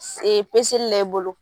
la i bolo.